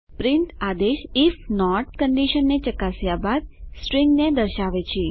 print આદેશ if not કંડીશનને ચકાસ્યા બાદ સ્ટ્રીંગને દર્શાવે છે